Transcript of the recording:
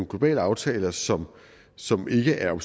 globale aftaler som som ikke er